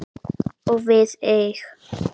Og við eig